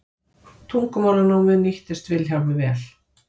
tungumálanámið nýttist vilhjálmi vel